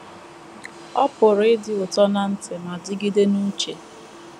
Ọ pụrụ ịdị ụtọ ná ntị ma dịgide n’uche.